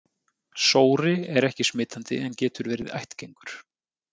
Sóri er ekki smitandi en getur verið ættgengur.